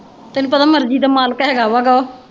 ਤੈਨੂੰ ਪਤਾ ਮਰਜੀ ਦਾ ਮਾਲਕ ਹੈ ਗਾ ਜਿਆਦਾ।